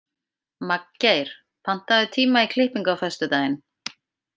Magngeir, pantaðu tíma í klippingu á föstudaginn.